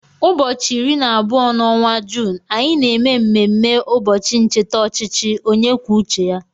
Ụbọchị iri na abụọ n'ọnwa Juun, anyị na eme mmemme ụbọchị ncheta ọchịchị onye kwuo uche ya.